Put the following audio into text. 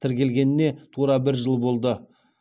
тіркелгеніне тура бір жыл болды